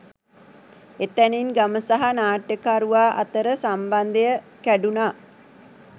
එතැනින් ගම සහ නාට්‍යකරුවා අතර සම්බන්ධය කැඩුණා